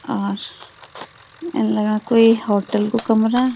और इन लगणा कुई होटल कु कमरा।